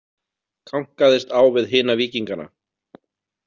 Kankaðist á við hina víkingana.